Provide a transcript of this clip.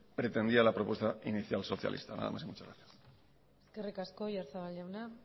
pretendía la propuesta inicial socialista nada más y muchas gracias eskerrik asko oyarzabal jauna